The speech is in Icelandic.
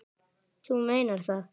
Þú meinar það.